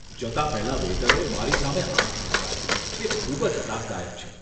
જતા પહેલાં વેઈટરે મારી સામે આંખ મીંચકારી. તે ખૂબ જ ત્રાસદાયક છે.